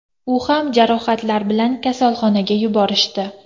U ham jarohatlar bilan kasalxonaga yuborishdi.